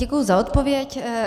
Děkuji za odpověď.